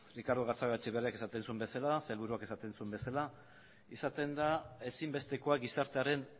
ricardo gatzagaetxebarriak esaten zuen bezala sailburuak esaten zuen bezala izaten da ezinbestekoa gizartearen